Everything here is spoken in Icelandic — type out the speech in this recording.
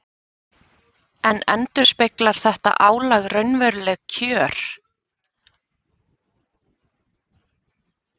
En endurspeglar þetta álag raunveruleg kjör?